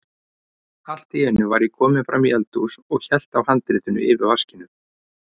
Allt í einu var ég kominn fram í eldhús og hélt á handritinu yfir vaskinum.